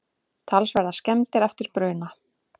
Talsverðar skemmdir eftir bruna